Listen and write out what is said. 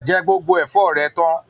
Jẹ gbogbo ẹfọ rẹ tàn.